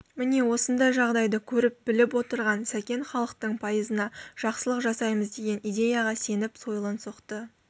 міне осындай жағдайды көріп-біліп отырған сәкен халықтың пайызына жақсылық жасаймыз деген идеяға сеніп сойылын соқты